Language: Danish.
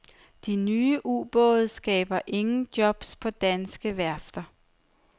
De nye ubåde skaber ingen jobs på danske værfter.